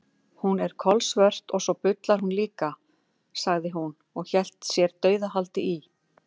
Hún er kolsvört og svo bullar hún líka, sagði hún og hélt sér dauðahaldi í